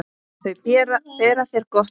Þau bera þér gott vitni.